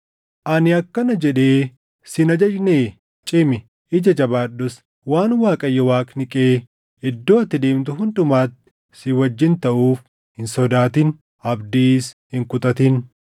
Ani akkana jedhee si hin ajajnee? Cimi; ija jabaadhus. Waan Waaqayyo Waaqni kee iddoo ati deemtu hundumatti si wajjin taʼuuf, hin sodaatin; abdiis hin kutatin.”